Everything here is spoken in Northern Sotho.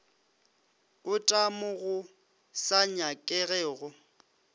ota mo go sa nyakegego